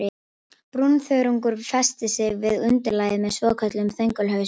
Brúnþörungar festa sig við undirlagið með svokölluðum þöngulhausum.